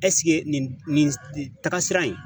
nin taga sira in